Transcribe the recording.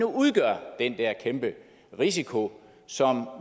udgør den der kæmpe risiko som